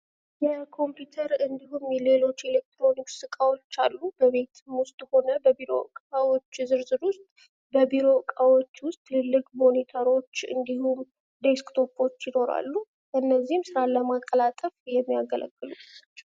የኮምፒውተር እንድሁም ሌሎች ኤሌክትሮኒክስ እቃዎች አሉ። በቤት ውስጥም ሆነ በቢሮ እቃዎች ዝርዝር ውስጥ በቢሮ እቃዎች ውስጥ ትልቅ ሞኒተሮች ደስክቶፖች ይኖራሉ። እነዚህ ስራን ለማቀላጠፍ የሚያገለግሉ ናቸው።